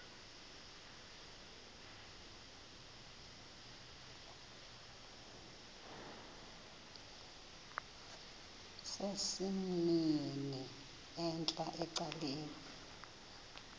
sesimnini entla ecaleni